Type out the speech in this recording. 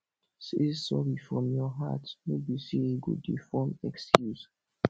say sori from your heart no be say you go dey form excuse